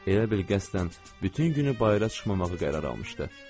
Elə bil qəsdən bütün günü bayıra çıxmamağı qərar almışdı.